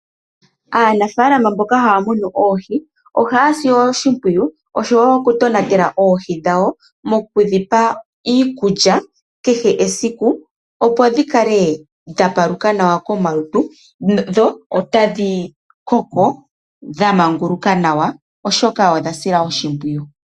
Aanafalama mboka haa munu oohi ohaa ye dhi sile oshimpwiyu osho woo okutonatela oohi dhawo mokudhipa iikulya kehe esiku opo dhi kala dha paluka nawa komalutu dho tadhi koko dha manguluka nawa oshoka odha silwa oshimpwiyu.